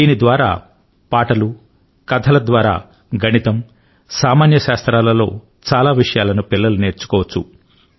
దీని ద్వారా పాటలు కథల ద్వారా గణితం సామాన్య శాస్త్రాల లో చాలా విషయాలను పిల్లలు నేర్చుకోవచ్చు